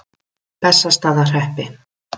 Bessastaðahreppi